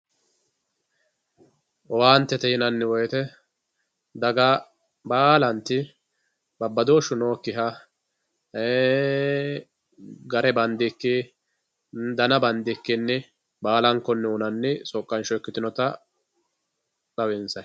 Owaantete yinanni woyite daga baalanti babadooshu nooyikiha, gare bandiki dana bandikki baala'nkonni uyinanni soqqa'nsho ikkitinotta xawinsayi